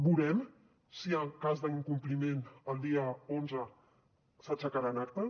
veurem si en el cas d’incompliment el dia onze s’aixecaran actes